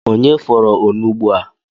Onye fọrọ onugbu a?